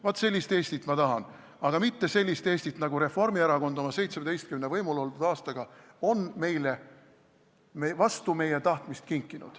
Vaat sellist Eestit ma tahan, aga mitte sellist Eestit, nagu Reformierakond oma 17 võimul oldud aastaga on meile vastu meie tahtmist kinkinud.